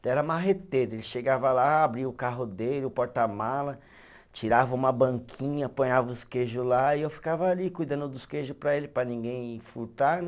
Então era marreteiro, ele chegava lá, abria o carro dele, o porta-mala, tirava uma banquinha, apanhava os queijos lá e eu ficava ali cuidando dos queijo para ele, para ninguém furtar, né?